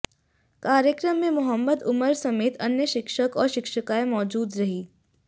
कार्यक्रम में मोहम्मद उमर समेत अन्य शिक्षक और शिक्षिकाएं मौजूद रहीं